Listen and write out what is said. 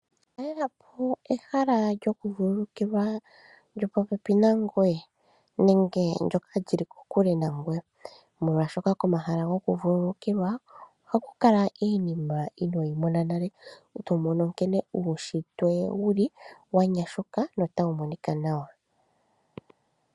Talelelapo ehala lyokuvululukilwa lyo popepi nangoye nenge ndjoka lyili kokule, molwaashoka komahala gokuvululukilwa oha ku kala iinima inooyi mona nale. To mono nkene uushitwe wuli wa nyashuka nota wu monika nawa.